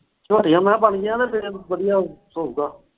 ਝੋਟੀਆਂ ਮੈਂ ਕਿਹਾ ਬਣ ਗਈਆਂ ਤੇ ਫਿਰ ਵਧੀਆ ਹੋਉਗਾ।